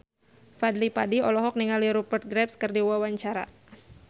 Fadly Padi olohok ningali Rupert Graves keur diwawancara